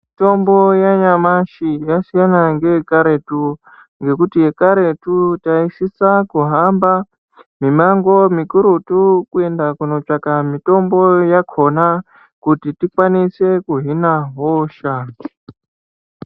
Mitombo yanyamashi yasiyana neyekaretu, ngekuti yekaretu taisisa kuhamba mimango mikurutu kundotsvanga mitombo yakhona kuti tikwanise kuhina hosha.